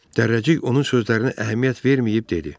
Dərrəcik onun sözlərinə əhəmiyyət verməyib dedi.